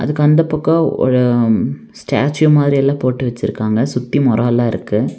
அதுக்கு அந்தப் பக்கம் ஒரு ம் ஸ்டாச்சு மாறி எல்லாம் போட்டு வச்சிருக்காங்க. சுத்தி மரோலா இருக்கு.